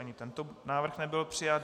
Ani tento návrh nebyl přijat.